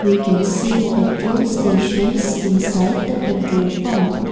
we can see petrol stations inside the petrol pump.